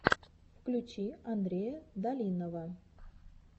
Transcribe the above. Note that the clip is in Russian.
включи андрея долинного